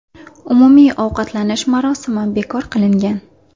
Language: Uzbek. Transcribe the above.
Umumiy ovqatlanish marosimi bekor qilingan.